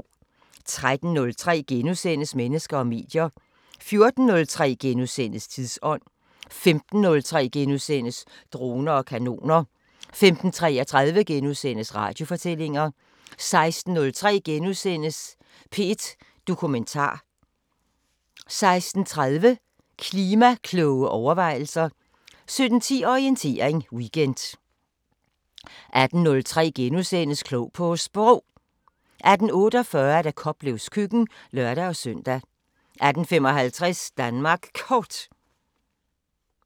13:03: Mennesker og medier * 14:03: Tidsånd * 15:03: Droner og kanoner * 15:33: Radiofortællinger * 16:03: P1 Dokumentar * 16:30: Klima-kloge overvejelser 17:10: Orientering Weekend 18:03: Klog på Sprog * 18:48: Koplevs køkken (lør-søn) 18:55: Danmark Kort